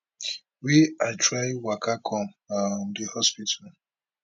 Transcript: wey i try waka come um di hospital